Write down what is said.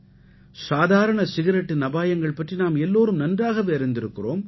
சாதாரண சிகரெட்டின் அபாயங்கள் பற்றி நாம் எல்லோரும் நன்றாகவே அறிந்திருக்கிறோம்